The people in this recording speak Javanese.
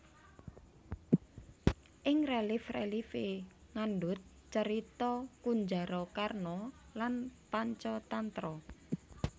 Ing relief relief e ngandhut carita Kunjarakarna lan Pancatantra